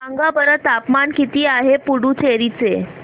सांगा बरं तापमान किती आहे पुडुचेरी चे